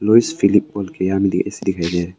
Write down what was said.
Louis Philippe के A C दिखाई दे रही है।